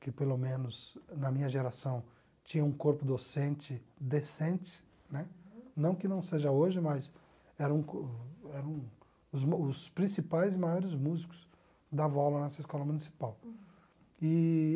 que pelo menos na minha geração tinha um corpo docente decente, né, não que não seja hoje, mas eram co eram mu os principais e maiores músicos que davam aula nessa escola municipal eee